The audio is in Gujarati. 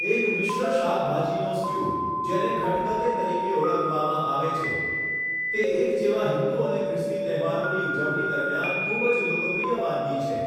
એક મિશ્ર શાકભાજીનો સ્ટયૂ, જેને ખટખતે તરીકે ઓળખવામાં આવે છે, તે એક જેવા હિન્દુ અને ખ્રિસ્તી તહેવારોની ઉજવણી દરમિયાન ખૂબ જ લોકપ્રિય વાનગી છે.